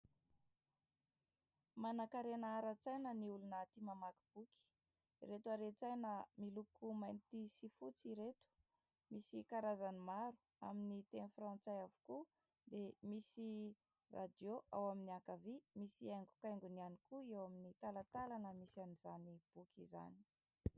Manankarena ara-tsaina ny olona tia mamaky boky, ireto haren-tsaina miloko mainty sy fotsy ireto. Misy karazany maro amin'ny teny frantsay avokoa dia misy radio ao amin'ny ankavia misy haingokaingony ihany koa eo amin'ny talantalana misy an'izany boky izany.